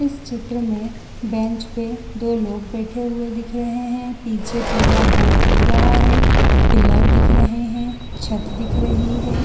इस चित्र में बेंच पे दो लोग बैठे हुए दिख रहे हैं पीछे पीला बोर्ड दिख रहा है पिलर दिख रहा है छत दिख रही है।